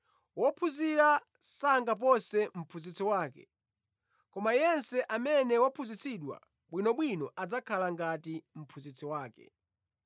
Wophunzira sangapose mphunzitsi wake, koma yense amene waphunzitsidwa bwinobwino adzakhala ngati mphunzitsi wake.